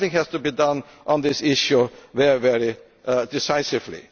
Something has to be done on this issue very decisively.